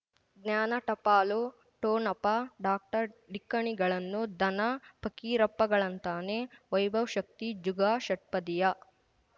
ಜ್ಞಾನ ಟಪಾಲು ಠೋಣಪ ಡಾಕ್ಟರ್ ಢಿಕ್ಕ ಣಿಗಳನು ಧನ ಫಕೀರಪ್ಪ ಳಂತಾನೆ ವೈಭವ್ ಶಕ್ತಿ ಝುಗಾ ಷಟ್ಪದಿಯ